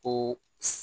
Ko